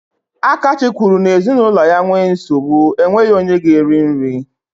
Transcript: Akachi kwuru n'ezinụlọ ya nwee nsogbu, enweghị onye ga-eri nri.